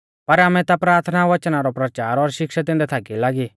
पर आमै ता प्राथना वचना रौ परचार और शिक्षा दैंदै थाकी लागी